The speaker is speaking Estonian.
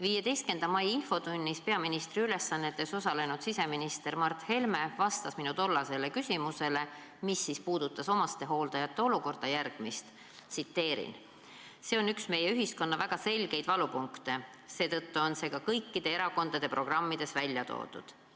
15. mai infotunnis peaministri ülesannetes osalenud siseminister Mart Helme vastas minu tollasele küsimusele, mis puudutas omastehooldajate olukorda, järgmist: "See on üks meie ühiskonna väga selgeid valupunkte, seetõttu on see ka kõikide erakondade programmides välja toodud.